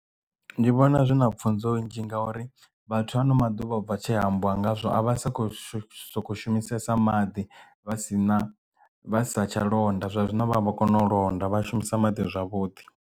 Ndi vhona zwi na pfunzo nnzhi ngauri vhathu ano maḓuvha ubva tshe hambiwa ngazwo a vha sa kho shu soko shumisesa maḓi vha si na vha sa tsha londa zwa zwino vha vho kona u londa vha shumisa maḓi zwavhuḓi.